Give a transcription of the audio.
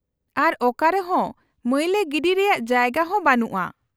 -ᱟᱨ ᱚᱠᱟᱨᱮ ᱦᱚᱸ ᱢᱟᱹᱭᱞᱟᱹ ᱜᱤᱰᱤ ᱨᱮᱭᱟᱜ ᱡᱟᱭᱜᱟ ᱦᱚᱸ ᱵᱟᱱᱩᱜᱼᱟ ᱾